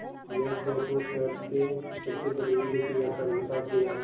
यह सोच वो शहर के सबसे बड़े हीरे के व्यापारी के पास गया